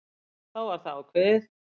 Þá var það ákveðið.